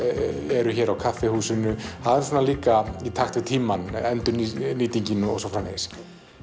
eru hér á kaffihúsinu það er líka í takt við tímann endurnýtingin og svo framvegis